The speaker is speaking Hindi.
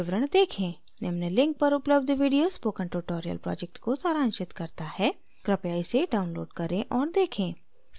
निम्न link पर उपलब्ध video spoken tutorial project को सारांशित करता है कृपया इसे download करें और देखें